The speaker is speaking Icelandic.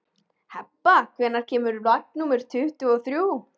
Hebba, hvenær kemur vagn númer tuttugu og þrjú?